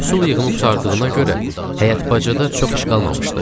Məhsul yığımı qurtardığına görə həyət bacada çox iş qalmamışdı.